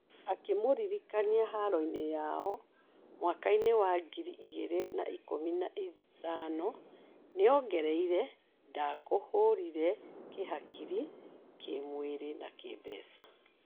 Akĩmũririkania haro yao mwakainĩ wa ngiri igĩrĩ na ikũmi na ithano, nĩongereire, "Ndakũhũrire kĩhakiri, kímwĩrĩ na kĩmbeca"